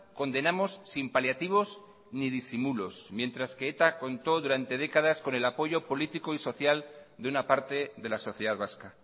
condenamos sin paliativos ni disimulos mientras que eta contó durante décadas con el apoyo político y social de una parte de la sociedad vasca